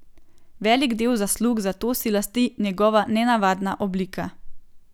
Velik del zaslug za to si lasti njegova nenavadna oblika.